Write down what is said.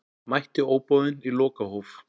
Mætti óboðinn í lokahóf